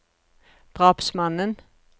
drapsmannen